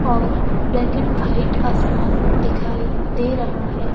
और black and white आसमान दिखाई दे रहा है।